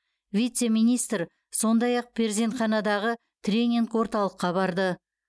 вице министр сондай ақ перзентханадағы тренинг орталыққа барды